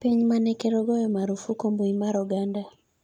piny mane ker ogoyo marufuku mbui mar oganda